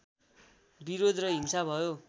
विरोध र हिंसा भयो